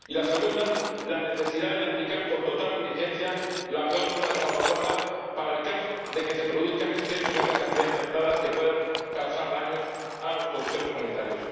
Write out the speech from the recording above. y la segunda, la necesidad de aplicar con total diligencia la cláusula de salvaguardia para el caso de que se produzcan excesos en las cantidades pactadas que puedan causar daños a los productores de la Unión.